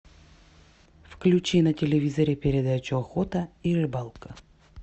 включи на телевизоре передачу охота и рыбалка